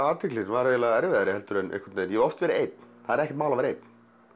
athyglin var eiginlega erfiðari en ég hef oft verið einn það er ekkert mál að vera einn